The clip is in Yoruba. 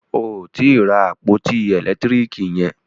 O ò tí ì ra àpótí ẹ̀lẹ́tírìkì yẹn.